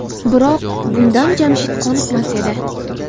Biroq bundan Jamshid qoniqmas edi.